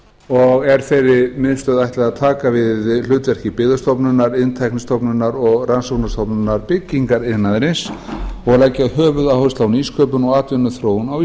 og er þeirri miðstöð að taka við hlutverki byggðastofnunar iðntæknistofnunar og rannsóknastofnunar byggingariðnaðarins og leggja höfuðáherslu á nýsköpun og atvinnuþróun á